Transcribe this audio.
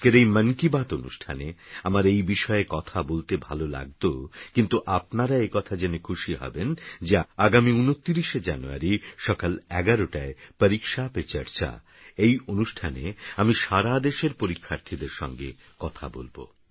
আজকেরএই মনকিবাত অনুষ্ঠানেআমারএইবিষয়েকথাবলতেভালোলাগতো কিন্তুআপনারাএকথাজেনেখুশিহবেনযে আগামী২৯শেজানুয়ারিসকাল১১টায় পরীক্ষাপেচর্চা এইঅনুষ্ঠানেআমিসারাদেশেরপরীক্ষার্থীদেরসঙ্গেকথাবলব